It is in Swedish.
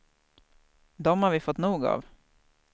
Dem har vi fått nog av.